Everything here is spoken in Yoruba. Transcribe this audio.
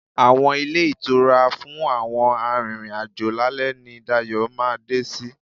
Àwọn ilé ìtura fún àwọn arìnrìn-àjò lálẹ́ ni Dayọ̀ ma dé sí.